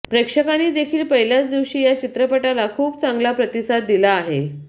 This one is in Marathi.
प्रेक्षकांनी देखील पहिल्याच दिवशी या चित्रपटाला खूप चांगला प्रतिसाद दिला आहे